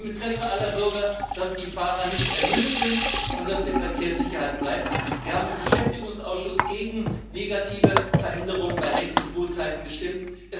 Es ist im Interesse aller Bürger, dass die Fahrer nicht ermüdet sind und dass die Verkehrssicherheit bleibt. Wir haben im Beschäftigungsausschuss gegen negative Veränderungen bei Lenk und Ruhezeiten gestimmt.